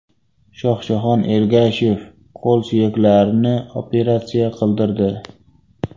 Shohjahon Ergashev qo‘l suyaklarini operatsiya qildirdi .